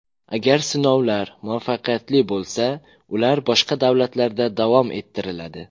Agar sinovlar muvaffaqiyatli bo‘lsa, ular boshqa davlatlarda davom ettiriladi.